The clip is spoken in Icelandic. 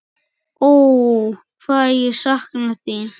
Ó, hvað ég sakna þín.